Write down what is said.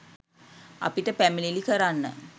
අපිට පැමිණිලි කරන්න